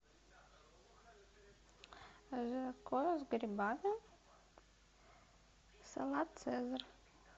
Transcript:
жаркое с грибами салат цезарь